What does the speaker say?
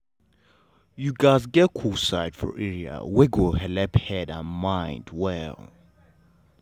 you gats get cool side for area wey go helep head and mind dey well.